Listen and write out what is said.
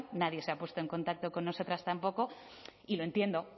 nadie se ha puesto en contacto con nosotras tampoco y lo entiendo